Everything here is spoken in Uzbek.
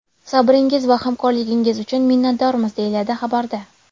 Sabringiz va hamkorligingiz uchun minnatdormiz!” deyiladi xabarda.